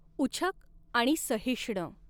उछक आणि सहिष्ण।